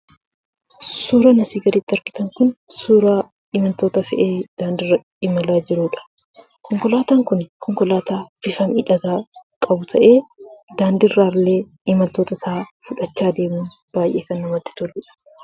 Suuraan asii gaditti argitan kun suuraa konkolaataa maamiltoota fe'ee daandiirra imalaa jiruudha. Konkolaataan kun konkolaataa bifa miidhagaa qabu ta'ee, daandiirraa illee imaltoota isaa fudhachaa deema. Baay'ee kana namatti toludha.